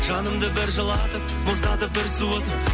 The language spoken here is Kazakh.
жанымды бір жылатып мұздатып бір суытып